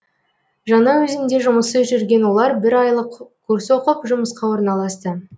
жаңаөзенде жұмыссыз жүрген олар бір айлық курс оқып жұмысқа орналасты